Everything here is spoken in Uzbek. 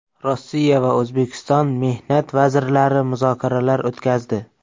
Rossiya va O‘zbekiston mehnat vazirlari muzokaralar o‘tkazdi.